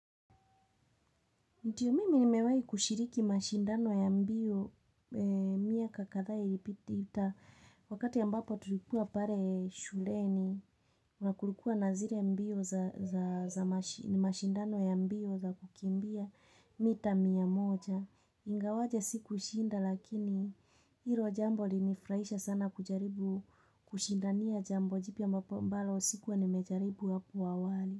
Ndio mimi nimewahi kushiriki mashindano ya mbio miaka kadhaa iliyopita. Wakati ambapo tulikuwa pale shuleni, na kulikuwa na zile mbio za mashindano ya mbio za kukimbia mita mia moja. Ingawaje sikushinda lakini hilo jambo lilinifurahisha sana kujaribu kushindania jambo jipya ambapo ambalo sikuwa nimejaribu hapo awali.